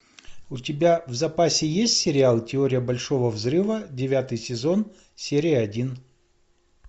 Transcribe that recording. у тебя в запасе есть сериал теория большого взрыва девятый сезон серия один